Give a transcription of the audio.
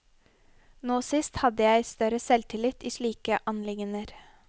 Nå sist hadde jeg fått større selvtillit i slike anliggender.